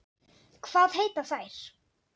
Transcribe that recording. Hvað heita þær?